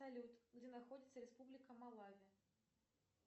салют где находится республика малави